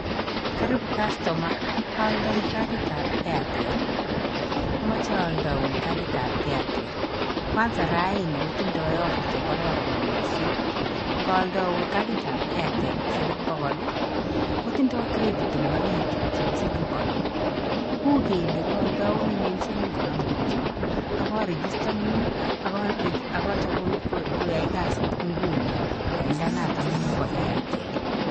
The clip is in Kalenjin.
Karibu customer, ooldoi carditab Airtel. Omoche ooldoun carditab Airtel. Kwanza raini kotindoi offer chekororon missing. Ngooldoun carditab Airtel eng' siling' bokool, kotindoi credit eng' oriit chepo siling' konom. U kele kooldounen siling' konom kityo, akaregistanun akochopun koyai kazit nguni lainda notong'ung' bo Airtel.